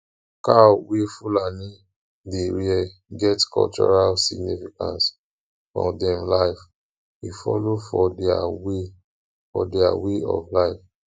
cow wey fulani dey rear get cultural significance for dem life e follow for their way for their way of life